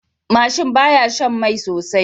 Mashin baya Shan Mai sosai